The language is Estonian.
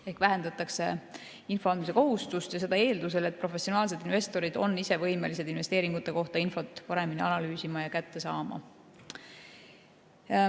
Ehk vähendatakse info andmise kohustust ja seda eeldusel, et professionaalsed investorid on ise võimelised infot investeeringute kohta paremini analüüsima ja kätte saama.